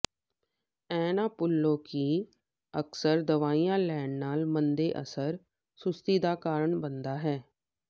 ਇਹ ਨਾ ਭੁੱਲੋ ਕਿ ਅਕਸਰ ਦਵਾਈਆਂ ਲੈਣ ਨਾਲ ਮੰਦੇ ਅਸਰ ਸੁਸਤੀ ਦਾ ਕਾਰਨ ਬਣਦਾ ਹੈ